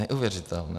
Neuvěřitelné.